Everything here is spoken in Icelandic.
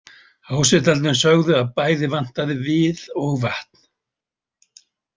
Hásetarnir sögðu að bæði vantaði við og vatn.